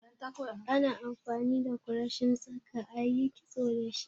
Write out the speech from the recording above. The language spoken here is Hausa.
Ana amfani da kureshin tsaka ayi kitso da shi